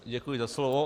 Děkuji za slovo.